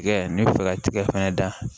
Tigɛ ni fɛɛrɛ tigɛ fɛnɛ da